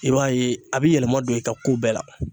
I b'a ye a bɛ yɛlɛma don i ka ko bɛɛ la.